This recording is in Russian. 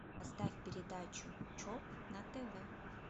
поставь передачу чоп на тв